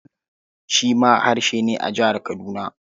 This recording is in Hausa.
Ikulu shi ma harshe ne a Jihar Kaduna.